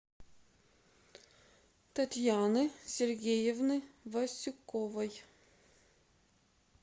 татьяны сергеевны васюковой